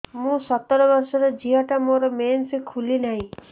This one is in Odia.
ମୁ ସତର ବର୍ଷର ଝିଅ ଟା ମୋର ମେନ୍ସେସ ଖୁଲି ନାହିଁ